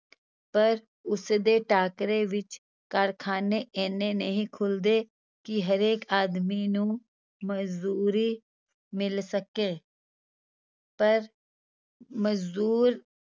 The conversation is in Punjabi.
ਪਰ ਉਸਦੇ ਟਾਕਰੇ ਵਿੱਚ ਕਾਰਖਾਨੇ ਇੰਨੇ ਨਹੀਂ ਖੁਲਦੇ ਕਿ ਹਰੇਕ ਆਦਮੀ ਨੂੰ ਮਜ਼ਦੂਰੀ ਮਿਲ ਸਕੇ ਪਰ ਮਜ਼ਦੂਰ